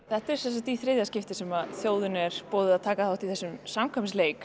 þetta er sem sagt í þriðja skiptið sem þjóðinni er boðið að taka þátt í þessum samkvæmisleik